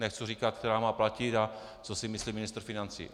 Nechci říkat, která má platit a co si myslí ministr financí.